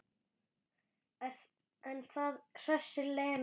En það hressir Lenu.